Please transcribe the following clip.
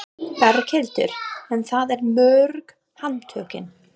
Berghildur: En það eru mörg handtökin?